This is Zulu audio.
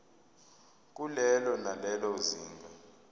kulelo nalelo zinga